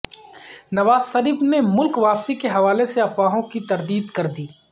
نواز شریف نے ملک واپسی کے حوالے سے افواہوں کی تردید کر دی